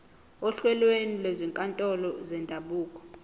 ohlelweni lwezinkantolo zendabuko